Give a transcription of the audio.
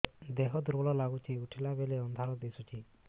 ଦେହ ଦୁର୍ବଳ ଲାଗୁଛି ଉଠିଲା ବେଳକୁ ଅନ୍ଧାର ଦିଶୁଚି